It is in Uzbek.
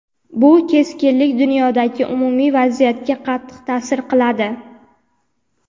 bu keskinlik dunyodagi umumiy vaziyatga qattiq ta’sir qiladi.